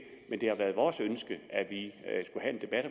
men det har været vores ønske at vi af